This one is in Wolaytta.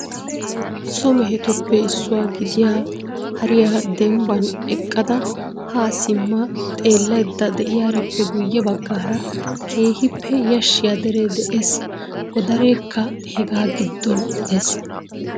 So mehetuppe issuwa gidiyaa hariyaa dembban eqqada ha simma xeellaydda de'iyaarippe guyye baggaara keehippe yashshiyaa dere de'ees. Godarekka hegaa giddon de'ees.